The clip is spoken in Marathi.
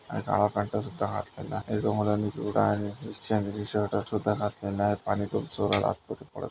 आणि काळा पॅंट सुद्धा घातलेला आहे एका मुलांनी पिवळा आणि शर्ट सुद्धा घातलेला आहे. पानी ट्यूब चोरायला आतमध्ये पळत--